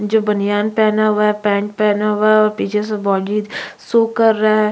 जो बनियान पहना हुआ है पैंट पहना हुआ है और पीछे से बॉडी शो कर रहे हैं।